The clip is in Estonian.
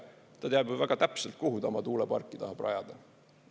Ta teab ju väga täpselt, kuhu ta oma tuuleparki tahab rajada.